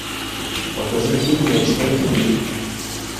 покажи фильм ночной тариф